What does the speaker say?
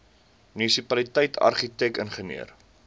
munisipaliteit argitek ingenieur